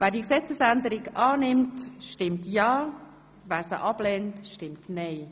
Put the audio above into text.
Schlussabstimmung (1. und einzige Lesung)